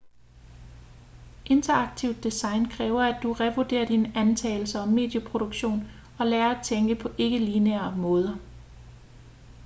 interaktivt design kræver at du revurderer dine antagelser om medieproduktion og lærer at tænke på ikke-lineære måder